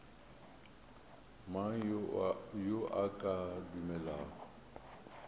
mang yo a ka dumelago